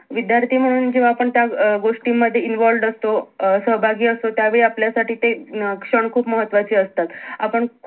विध्यार्थी म्हणून जेव्हा आपण त्या अं गोष्टी मध्ये involved असतो अं सहभागी असतो त्यावेळी आपल्या साठी ते न अं क्षण खूप महत्वाचे असतात आपण